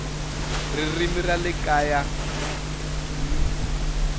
ririmi ra le kaya hl